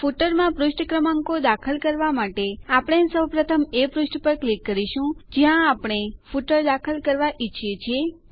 ફૂટરમાં પુષ્ઠ ક્રમાંકો દાખલ કરવા માટે આપણે સૌપ્રથમ એ પુષ્ઠ પર ક્લિક કરીશું જ્યાં આપણે ફૂટર દાખલ કરવા ઈચ્છીએ છીએ